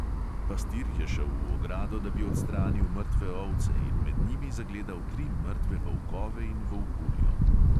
Pastir je šel v ogrado, da bi odstranil mrtve ovce, in med njimi zagledal tri mrtve volkove in volkuljo.